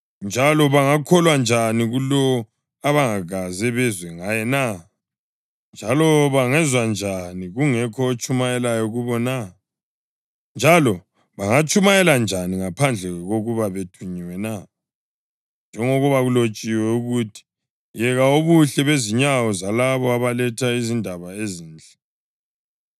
Njalo bangatshumayela njani ngaphandle kokuba bethunyiwe na? Njengoba kulotshiwe ukuthi, “Yeka ubuhle bezinyawo zalabo abaletha izindaba ezinhle!” + 10.15 U-Isaya 52.7